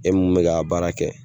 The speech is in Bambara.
E mun bɛ ka baara kɛ